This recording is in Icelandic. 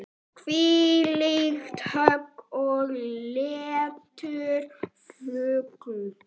Þvílíkt högg og léttur fugl.